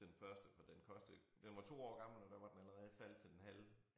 Den første for den kostede den var 2 år gammel og der var den allerede faldet til den halve